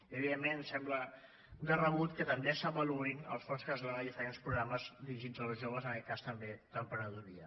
i evidentment em sembla de rebut que també s’avaluïn els fons que es donen a diferents programes dirigits als joves en aquest cas també d’emprenedoria